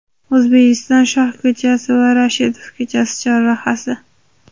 O‘zbekiston shoh ko‘chasi va Rashidov ko‘chasi chorrahasi.